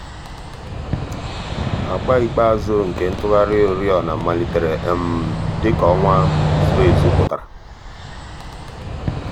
àgbà ikpeazụ̀ nke ntùghàrị̀ òrìọ̀nà màlítèrè dị̀ka ọnwà dị̀ka ọnwà zùrù èzù pụtara.